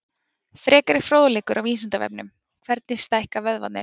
Frekari fróðleikur á Vísindavefnum: Hvernig stækka vöðvarnir?